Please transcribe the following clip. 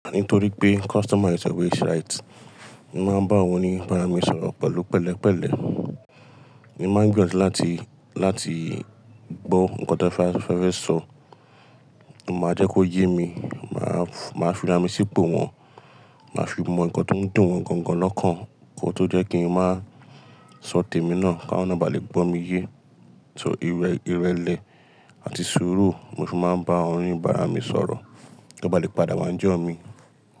Àní torí pé customer is always right. Mo máa ń bá wọn ní ìbáraẹnisọ̀rọ̀ pẹ̀lú pẹ̀lẹ́ pẹ̀lẹ́. Mo máa ń gbiyan ju láti, láti gbọ́ nǹkan tí wọ́n fẹ́ sọ, mo máa jẹ́ kó yé mi, mà á, mà á fi ara mi si ipò wọ́n, mà á fi mọ nǹkan tó ń dùn wọ́n gangan lọ́kàn kí ó tó jẹ́ kí n má sọ tèmi náà káwọn náà ba lè gbọ́ mi yé. Ṣò irẹ̀lẹ̀ àti sùúrù mo fi máa ń bá wọ́n ní ìbára mi sọ̀rọ̀ kí wọ́n ba lè padà máa ni jọ̀ mi.